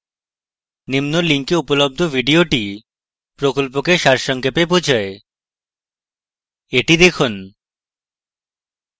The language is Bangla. নিম্ন link উপলব্ধ video প্রকল্পকে সারসংক্ষেপে বোঝায় the দেখুন